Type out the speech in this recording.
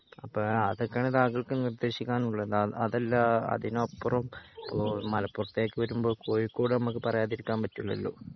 അപ്പൊ അതോക്കെണ് താങ്കൾക്ക് നിർദ്ദേശിക്കാനുള്ളത് അതല്ല അതിനപ്പുറം ഓഹ് മലപ്പുറത്തേക് വരുമ്പോ കോഴിക്കോട് നമുക്ക് പറയാണ്ടിരിക്കാൻ പറ്റില്ലാലോ